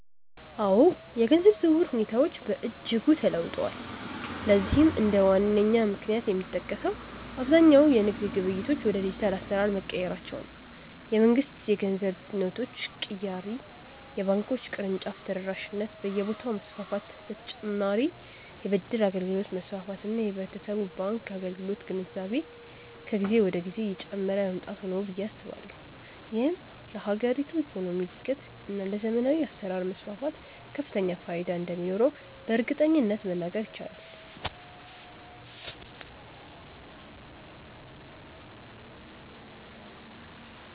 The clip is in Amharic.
አዎ፣ የገንዘብ ዝውውር ሁኔታዎች በእጅጉ ተለውጠዋል። ለዚህም እንደ ዋነኛ ምክንያት የሚጠቀሰው አብዛኛው የንግድ ግብይቶች ወደ ዲጂታል አሰራር መቀየራቸው፣ የመንግስት የገንዘብ ኖቶች ቅያሬ፣ የባንኮች የቅርንጫፍ ተደራሽነት በየቦታው መስፋፋት በ ተጨማርም የ ብድር አገልግሎት መስፋፋት እና የህብረተሰቡ የባንክ አገልግሎት ግንዛቤ ከጊዜ ወደ ጊዜ እየጨመረ መምጣቱ ነው ብዬ አስባለሁ። ይህም ለሀገሪቱ የኢኮኖሚ እድገት እና ለዘመናዊ አሰራር መስፋፋት ከፍተኛ ፋይዳ እንደሚኖረውም በእርግጠኝነት መናገር ይቻላል።